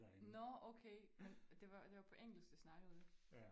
Nåh okay men det var det var på engelsk de snakkede